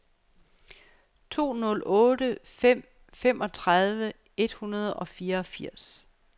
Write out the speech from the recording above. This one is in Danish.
to nul otte fem femogtredive et hundrede og fireogfirs